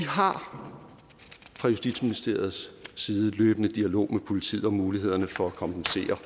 har fra justitsministeriets side løbende dialog med politiet om mulighederne for at kompensere